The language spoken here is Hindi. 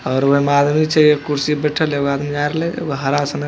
और ओय मे आदमी छै कुर्सी पर बैठल एगो आदमी जा रहले एगो हरा सनक ----